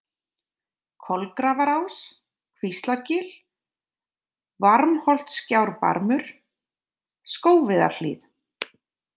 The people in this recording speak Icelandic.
Kolagrafarás, Kvíslargil, Varmholtsgjárbarmur, Skógviðarhlíð